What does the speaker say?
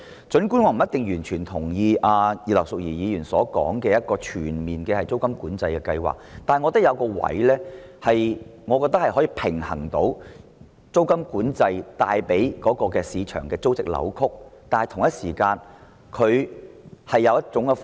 儘管我未必完全贊同葉劉淑儀議員提出的全面租金管制計劃，但我認為有一種方法既可平衡租金管制令市場出現的租值扭曲，同時亦可解決租住問題。